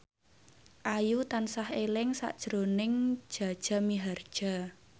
Ayu tansah eling sakjroning Jaja Mihardja